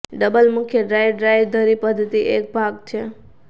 double મુખ્ય drive drive ધરી પદ્ધતિ એક ભાગ છે